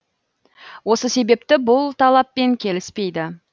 осы себепті бұл талаппен келіспейді